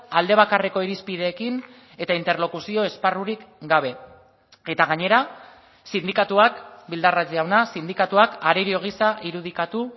alde bakarreko irizpideekin eta interlokuzio esparrurik gabe eta gainera sindikatuak bildarratz jauna sindikatuak arerio gisa irudikatu